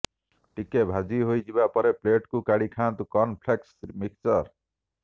ଟିକେ ଭାଜି ହୋଇଯିବା ପରେ ପ୍ଲେଟ୍କୁ କାଢି ଖାଆନ୍ତୁ କର୍ନଫ୍ଲେକ୍ସ ମିକ୍ସଚର